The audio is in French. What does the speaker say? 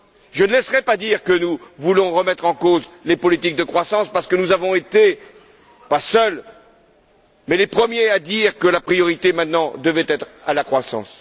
Je ne laisserai pas dire que nous voulons remettre en cause les politiques de croissance parce que nous avons été, non pas les seuls, mais les premiers à dire que la priorité, maintenant, devait être la croissance.